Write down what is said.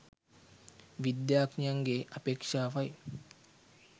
විද්‍යාඥයන්ගේ අපේක්‍ෂාවයි.